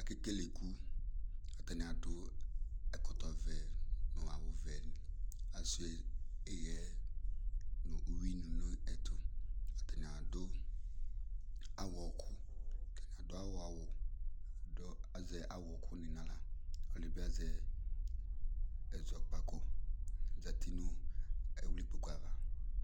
Akele iku, atani adʋ ɛkɔtɔ vɛ nʋ awʋ vɛ, Asua ihɛ nʋ uyuini nʋ ɛtʋ, atani adʋ awɔ kʋ, atani adʋ awɔ awʋ dʋ azɛ awɔ kʋ ni n'aɣla, ɔlɔdi bi azɛ ɛzɔkpako ozati nʋ ɛwli kpoku ava